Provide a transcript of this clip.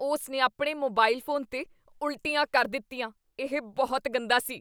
ਉਸ ਨੇ ਆਪਣੇ ਮੋਬਾਈਲ ਫੋਨ 'ਤੇ ਉਲਟੀਆਂ ਕਰ ਦਿੱਤੀਆਂ। ਇਹ ਬਹੁਤ ਗੰਦਾ ਸੀ।